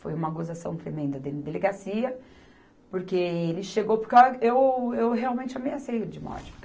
Foi uma gozação tremenda dele na delegacia, porque ele chegou, porque eu a, eu, eu realmente ameacei ele de morte.